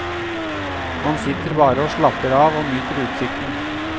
Man sitter bare og slapper av og nyter utsikten.